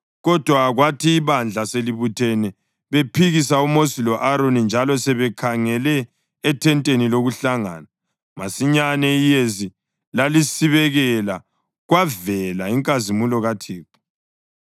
Kodwa kwathi ibandla selibuthene bephikisa uMosi lo-Aroni njalo sebekhangele ethenteni lokuhlangana, masinyane iyezi lalisibekela kwavela inkazimulo kaThixo.